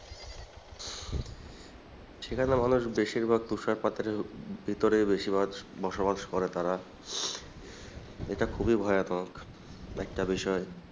সেখানে মানুষ বেশিরভাগ তুষারপাতের ভিতরেই বেশিরভাগ বসবাস করে তারা এটা খুবই ভয়ানক একটা বিষয়।